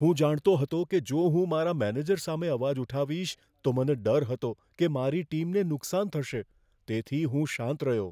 હું જાણતો હતો કે જો હું મારા મેનેજર સામે અવાજ ઉઠાવીશ, તો મને ડર હતો કે મારી ટીમને નુકસાન થશે, તેથી હું શાંત રહ્યો.